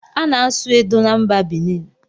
A na-asụ edo na mba Binin